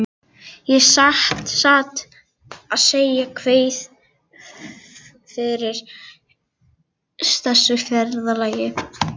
Ég satt að segja kveið fyrir þessu ferðalagi.